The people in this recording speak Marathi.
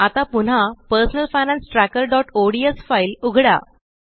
आता पुन्हा पर्सनल फायनान्स trackerओडीएस फाइल उघडा